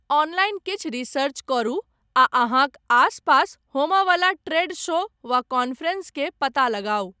Online किछु research करू आ अहाँक आसपास होमय वला ट्रेड शो वा कॉन्फ्रेंस के पता लगाउ।